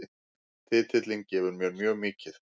Titillinn gefur mér mjög mikið